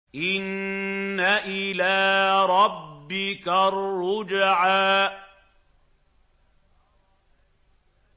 إِنَّ إِلَىٰ رَبِّكَ الرُّجْعَىٰ